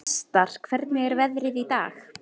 Vestar, hvernig er veðrið í dag?